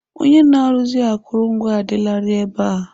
Onye na-arụzi akụrụngwa adịlarị ebe a.